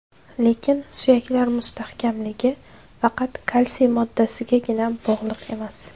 Lekin, suyaklar mustahkamligi faqat kalsiy moddasigagina bog‘liq emas.